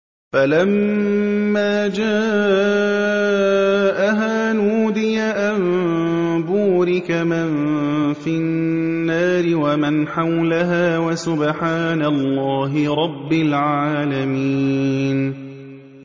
فَلَمَّا جَاءَهَا نُودِيَ أَن بُورِكَ مَن فِي النَّارِ وَمَنْ حَوْلَهَا وَسُبْحَانَ اللَّهِ رَبِّ الْعَالَمِينَ